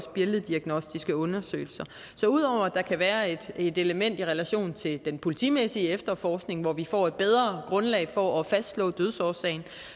billeddiagnostiske undersøgelser så ud over at der kan være et element i relation til den politimæssige efterforskning hvor vi får et bedre grundlag for at fastslå dødsårsagen